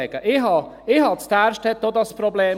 Ich hatte in Därstetten auch dieses Problem.